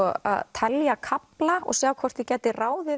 telja kafla og sjá hvort ég gæti ráðið